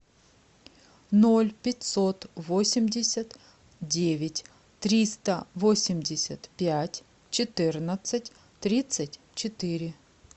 ноль пятьсот восемьдесят девять триста восемьдесят пять четырнадцать тридцать четыре